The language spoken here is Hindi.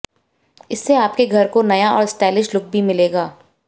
इससे आपके घर को नया और स्टाइलिश लुक भी मिलेगा